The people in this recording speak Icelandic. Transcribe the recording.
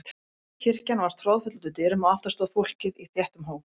Kirkjan var troðfull út úr dyrum og aftast stóð fólkið í þéttum hóp.